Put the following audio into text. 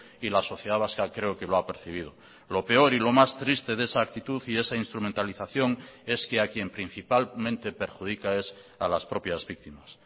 y la sociedad vasca creo que lo ha percibido lo peor y lo más triste de esa actitud y esa instrumentalización es que a quien principalmente perjudica es a las propias víctimas